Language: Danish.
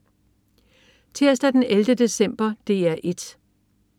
Tirsdag den 11. december - DR 1: